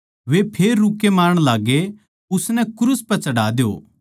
वे फेर रूक्के मारण लाग्गे उसनै क्रूस पै चढ़ा द्यो